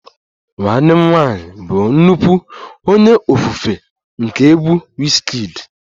Nwanne m nwanyị bụ nnukwu onye ofufe nke egwu Wizkid